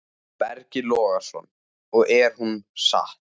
Breki Logason: Og er hún sátt?